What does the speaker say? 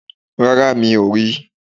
Rárá, mi ò ri